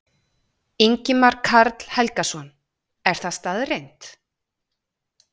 Ingimar Karl Helgason: Er það staðreynd?